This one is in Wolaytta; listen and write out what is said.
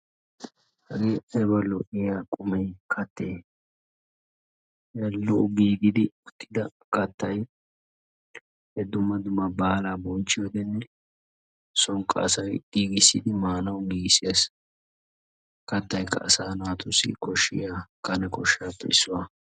Hagee ayiba lo"iyaa qumme kaatte? Ha lo"o giigidda uttidda kaattay dumma dumma baala bonchchiyodenne soonikka asay giigisidi maanawu giigisses kaattaykka asa naatussi koshshiya kanne koshshappe issuwaa.